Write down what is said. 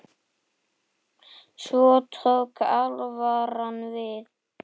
Svo tók alvaran við.